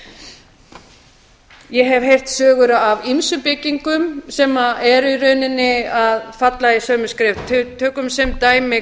annað ég hef heyrt sögur af ýmsum byggingum sem eru í rauninni að falla í sömu skref tökum sem dæmi